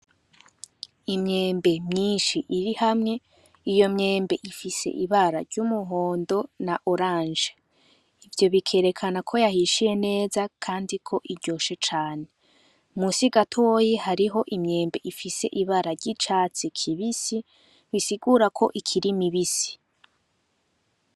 Imyembe myinshi iri hamwe iyo myembe ifise ibara ry'umuhondo na oranje ivyo bikerekana ko yahishiye neza, kandi ko iryoshe cane musi gatoyi hariho imyembe ifise ibara ry'icatsi kibisi bisigura ko ikiri mibisi.